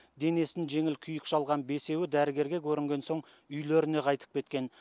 денесін жеңіл күйік шалған бесеуі дәрігерге көрінген соң үйлеріне қайтып кеткен